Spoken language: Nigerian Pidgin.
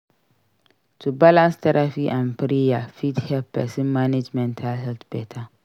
To balance therapy and prayer fit help pesin manage mental health beta.